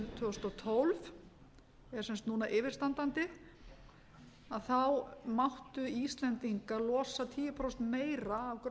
tvö þúsund og tólf er sem sagt yfirstandandi þá máttu íslendingar losa tíu prósentum meira af gróðurhúsalofttegundum heldur